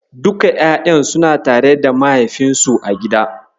Duka ƴaƴan suna tare da mahaifinsu a gida.